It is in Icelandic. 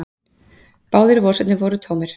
Báðir vasarnir voru tómir.